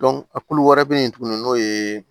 a kulu wɛrɛ be yen tuguni n'o ye